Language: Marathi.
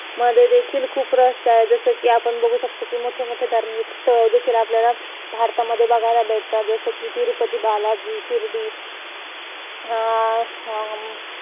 तिकडे interview देण्यासाठी बोलवले तीन तीन interview असणार आहे तीन-तीन मॅडम वगैरे interview घेणार आहेत .